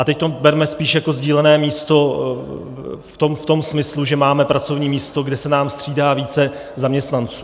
A teď to berme spíš jako sdílené místo v tom smyslu, že máme pracovní místo, kde se nám střídá více zaměstnanců.